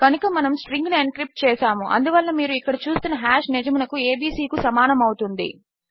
కనుక మనము స్ట్రింగ్ ను ఎన్క్రిప్ట్ చేసాము అందువలన మీరు ఇక్కడ చూస్తున్న హాష్ నిజమునకు ఏబీసీ కు సమానము అవుతుంది